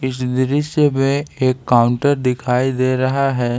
इस दृश्य में एक काउंटर दिखाई दे रहा है।